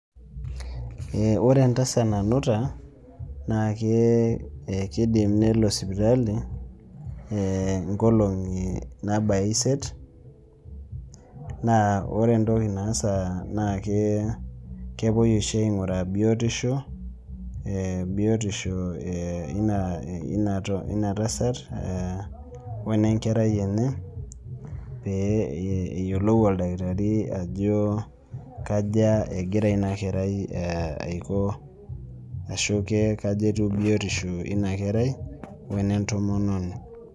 Eh ore entasat nanuta naakee ekeidim nelo sipitali eeh inkolong'i naabaya isiet naa ore entoki naasaa nakee kepuoi oshi aing'uraa biotisho, eeh biotisho eina eeh ina tasat oenenkerai enye pee eyiolou oldakitari ajo kaja egira inakerai aiko ashu kee kaji etiu biotisho eina kerai oenentomononi.